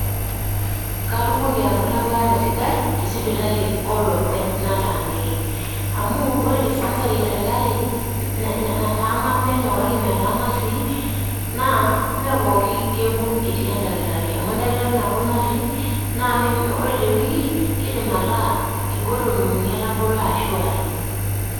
Katumoki anoto ebaare sidai te sipitali olopeny nataaniki. Amu ore dispensary esirkali nataana penyo kake metaana sii, naa, mepookin kekun etii edakitari, amu edakitari nabo natii, na ore tewiki, kiidim ataa inkolong'i uni etabolo ashu are.